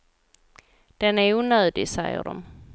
Den är onödig, säger de.